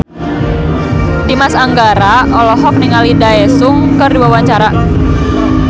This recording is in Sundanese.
Dimas Anggara olohok ningali Daesung keur diwawancara